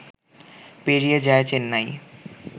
পেরিয়ে যায় চেন্নাই